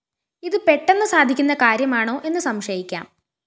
ഇതു പെട്ടെന്നു സാധിക്കുന്ന കാര്യമാണോ എന്നു സംശയിക്കാം